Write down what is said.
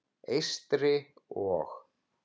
Eystri- og